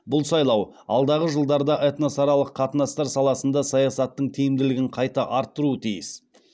бұл сайлау алдағы жылдарда этносаралық қатынастар саласында саясаттың тиімділігін қайта арттыруы тиіс